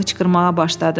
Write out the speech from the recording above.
O hıçqırmağa başladı.